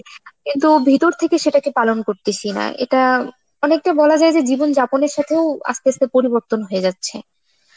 কিন্তু ভেতর থেকে সেটাকে পালন করতেছিনা, এটা অনেকটা বলা যায় যে জীবনযাপনের সাথেও আস্তে আস্তে পরিবর্তন হয়ে যাচ্ছে.